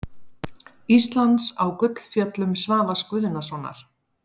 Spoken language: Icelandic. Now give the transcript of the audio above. Íslands á Gullfjöllum Svavars Guðnasonar.